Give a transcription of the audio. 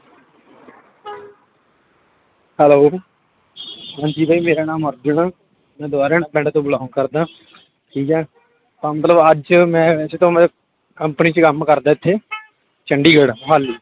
Hello ਹਾਂਜੀ ਬਾਈ ਮੇਰਾ ਨਾਮ ਅਰਜੁਨ ਆ, ਮੈਂ ਦੁਬਾਰਾਆਣਾ ਪਿੰਡ ਤੋਂ belong ਕਰਦਾਂ ਠੀਕ ਹੈ ਤਾਂ ਮਤਲਬ ਅੱਜ ਮੈਂ ਵੈਸੇ ਤਾਂ ਮੈਂ company ਚ ਕੰਮ ਕਰਦਾ ਇੱਥੇ ਚੰਡੀਗੜ੍ਹ ਮੁਹਾਲੀ।